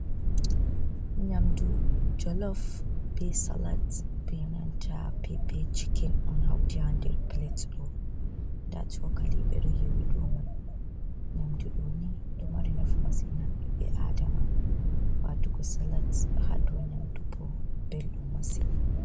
Nyamdu jolof, be salat, benanta pp chicken on hauti hander plat ɗo. Nda chokali ɓeɗo yowi domai. Nyamdu ɗo ni ɗo mari nafu masin ha ɓiɓɓe adama. Watugo salat hado nyamdu bo beldum masin.